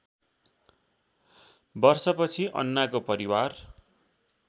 वर्षपछि अन्नाको परिवार